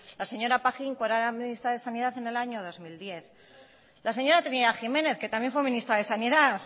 la señora pajín cuando era ministra de sanidad en el año dos mil diez la señora trinidad jiménez que también fue ministra de sanidad